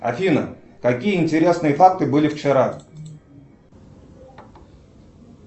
афина какие интересные факты были вчера